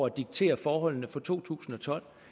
at diktere forholdene for to tusind og tolv